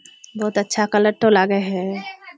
बोहोत अच्छा कलरटा लागे छे।